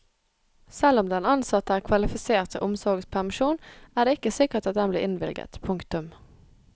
Selv om den ansatte er kvalifisert til omsorgspermisjon er det ikke sikkert at den blir innvilget. punktum